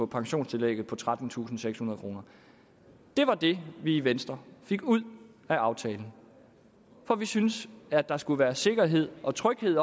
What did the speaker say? pensionstillægget på trettentusinde og sekshundrede kroner det var det vi i venstre fik ud af aftalen for vi synes at der skal være sikkerhed og tryghed i